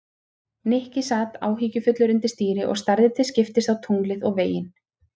Nikki sat áhyggjufullur undir stýri og starði til skiptist á tunglið og veginn.